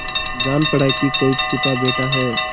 जान पड़ा कि कोई छिपा बैठा है